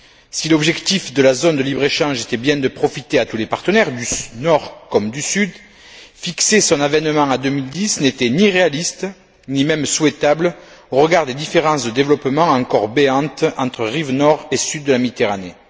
Si l'objectif de la zone de libre échange était bien de profiter à tous les partenaires, du nord comme du sud, fixer son avènement à 2010 n'était ni réaliste, ni même souhaitable, au regard des différences de développement encore béantes entre rives nord et sud de la Méditerranée.